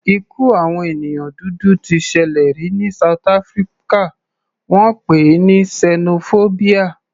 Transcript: Ikú àwọn ènìyàn dúdú t ṣẹlẹ̀ rí ní south Africa, wọ́n pè é ní sẹnofóbíà.